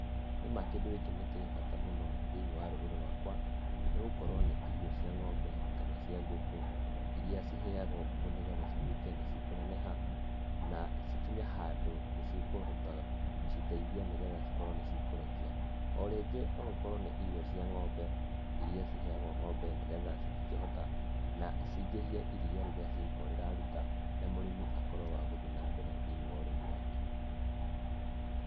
Nĩma kĩndũ gĩkĩ nĩkĩrĩ bata mũno thĩiniĩ wa rũrĩrĩ rũakwa nĩgũkorwo nĩ irio cia ngombe kana ngũkũ iria ciheagwo ngũku nĩgetha cituĩkĩ nĩcia kũneneha na cikinye handũ cikũhota gũciteithia nigetha cikorwo nĩcikũreki.O rĩngĩ noũkorwe oũkorwe nĩ irio cia ng'ombe iria ciheagwo ng'ombe nĩgetha cingĩhie iriia cigũkorwo rĩraruta na mũrĩmi akorwe wa guthii na mbere thĩinĩ wa ũrĩmi wake.